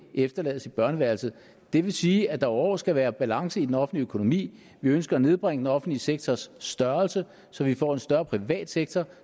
efterlades i børneværelset det vil sige at der over år skal være balance i den offentlige økonomi vi ønsker at nedbringe den offentlige sektors størrelse så vi får en større privat sektor